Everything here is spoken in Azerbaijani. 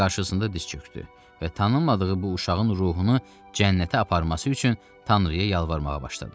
Sonra qarşısında diz çökdü və tanınmadığı bu uşağın ruhunu cənnətə aparması üçün tanrıya yalvarmağa başladı.